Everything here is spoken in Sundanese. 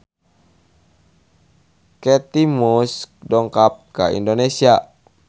Kate Moss dongkap ka Indonesia